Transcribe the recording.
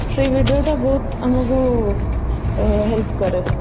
ସେଇ video ଟା ବହୁତ ଆମକୁ ଆଁ help କରେ